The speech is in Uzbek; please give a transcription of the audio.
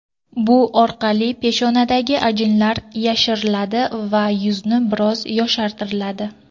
Bu orqali peshonadagi ajinlar yashiriladi va yuzni biroz yoshartiradi.